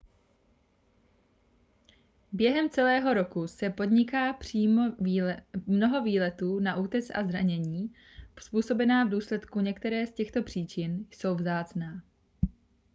během celého roku se podniká mnoho výletů na útes a zranění způsobená v důsledku některé z těchto příčin jsou vzácná